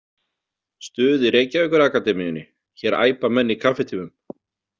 Stuð í Reykjavíkur Akademíunni Hér æpa menn í kaffitímum.